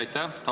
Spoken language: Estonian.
Aitäh!